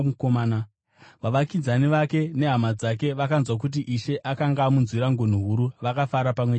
Vavakidzani vake nehama dzake vakanzwa kuti Ishe akanga amunzwira ngoni huru, vakafara pamwe chete naye.